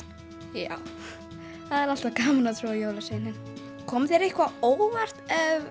já það er alltaf gaman að trúa á jólasveininn kom þér eitthvað á óvart